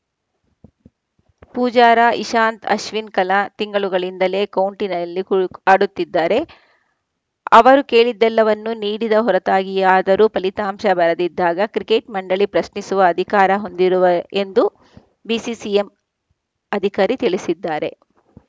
ಪೂಜಾರ ಇಶಾಂತ್‌ ಅಶ್ವಿನ್‌ ಕಲ ತಿಂಗಳುಗಳಿಂದಲೇ ಕೌಂಟಿನಲ್ಲಿ ಕು ಆಡುತ್ತಿದ್ದಾರೆ ಅವರು ಕೇಳಿದ್ದೆಲ್ಲವನ್ನೂ ನೀಡಿದ ಹೊರತಾಗಿಯಾದರೂ ಫಲಿತಾಂಶ ಬರದಿದ್ದಾಗ ಕ್ರಿಕೆಟ್‌ ಮಂಡಳಿ ಪ್ರಶ್ನಿಸುವ ಅಧಿಕಾರ ಹೊಂದಿರುವ ಎಂದು ಬಿಸಿಸಿಐ ಅಧಿಕಾರಿ ತಿಳಿಸಿದ್ದಾರೆ